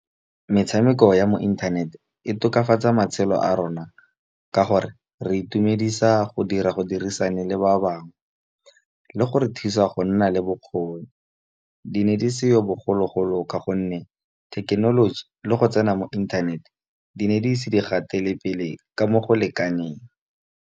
Metshameko ya mo inthaneteng e tokafatsa matshelo a rona, ka gore re itumedisa go dira go dirisana le ba bangwe. Le go re thusa go nna le le bokgoni di ne di seyo bogologolo ka gonne thekenoloji le go tsena mo inthanete di ne di ise di gatele pele ka mo go lekaneng.